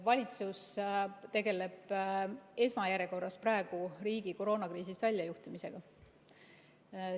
Valitsus tegeleb esmajärjekorras praegu riigi koroonakriisist väljajuhtimisega.